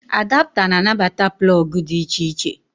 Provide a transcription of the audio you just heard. Adapta na anabata plọọgụ dị iche iche